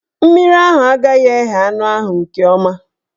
Mmiri ahụ agaghị eghe anụ ahụ nke ọma.